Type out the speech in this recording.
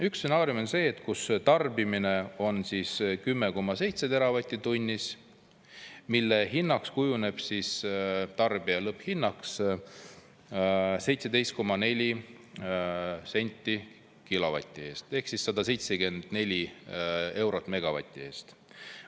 Üks stsenaarium on see, kus tarbimine on 10,7 teravatti tunnis, mille hinnaks kujuneb, tarbija lõpphinnaks 17,4 senti kilovati eest ehk 174 eurot megavati eest.